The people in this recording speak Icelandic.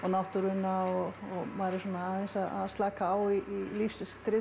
náttúruna og maður er svona aðeins að slaka á í